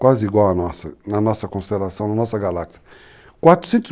quase igual a nossa, na nossa constelação, na nossa galáxia. 400